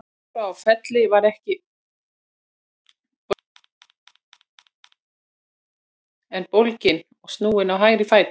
Dóra á Felli var ekki brotin en bólgin og snúin á hægra fæti.